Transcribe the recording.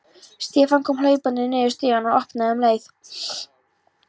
Stefán kom hlaupandi niður stigann og opnaði um leið og